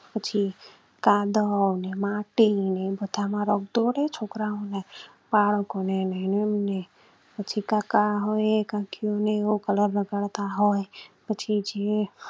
પછી કાદવ ને માટી ને રંધોળે છોકરાઓ ને બાળકો ને ને પછી કાકા હોય કાકીઓને હો કલર રગડતાં હોય પછી જે